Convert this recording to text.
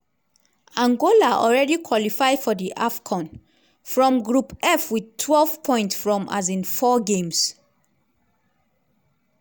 angola already qualify for di afcon from group f wit twelve points from um 4 games.